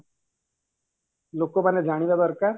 ଲୋକମାନେ ଜାଣିବା ଦରକାର